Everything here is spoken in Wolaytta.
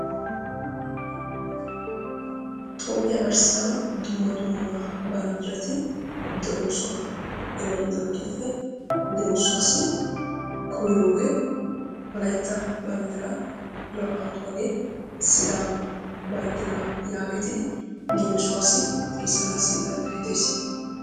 Toophiya garssan dumma dumma banddirati de'oosona. He banddiratuppe leemisuwassi koyroogee wolaytta banddiraa naa'anttuwagee sidaama banddiraa yaagettidi leemisuwassi xeesanaassi danddayettes.